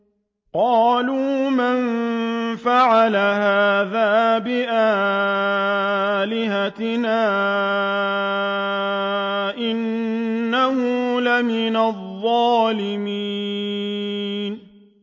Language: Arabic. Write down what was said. قَالُوا مَن فَعَلَ هَٰذَا بِآلِهَتِنَا إِنَّهُ لَمِنَ الظَّالِمِينَ